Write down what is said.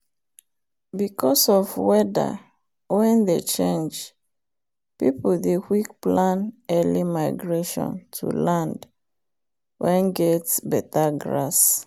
because of weather wen dey change people dey quick plan early migration to land wen get better grass.